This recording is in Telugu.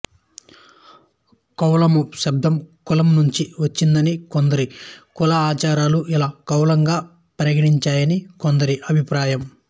కౌలళము శబ్దం కులం నుంచి వచ్చిందనీ కొన్ని కులాచారాలు ఇలా కౌలంగా పరిణ మించాయనీ కొందరి అభిప్రాయం